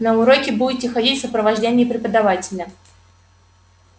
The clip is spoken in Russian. на уроки будете ходить в сопровождении преподавателя